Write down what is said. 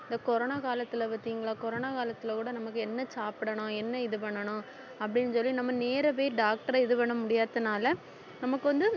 இந்த corona காலத்துல பார்த்தீங்களா corona காலத்துல கூட நமக்கு என்ன சாப்பிடணும் என்ன இது பண்ணணும் அப்படின்னு சொல்லி நம்ம நேரவே டாக்டரை இது பண்ண முடியாதனால நமக்கு வந்து